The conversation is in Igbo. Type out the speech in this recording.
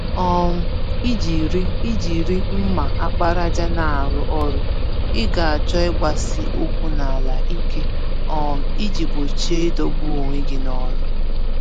um Ijiri Ijiri mma àkpàràjà n'arụ ọrụ, Ị ga-achọ ịgbasi-ụkwụ-n'ala-ike, um iji gbochie idọgbu onwe gị nọlụ